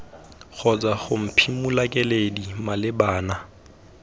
kgotsa ho mophimola keledi malebana